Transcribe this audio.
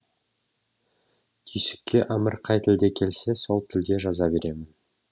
түйсікке әмір қай тілде келсе сол тілде жаза беремін